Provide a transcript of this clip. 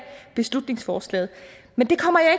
beslutningsforslaget men det kommer jeg